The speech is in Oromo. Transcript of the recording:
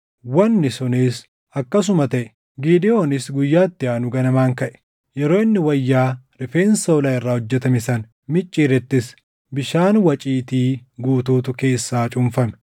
Wanni sunis akkasuma taʼe. Gidewoonis guyyaa itti aanu ganamaan kaʼe; yeroo inni wayyaa rifeensa hoolaa irraa hojjetame sana micciirettis bishaan waciitii guutuutu keessaa cuunfame.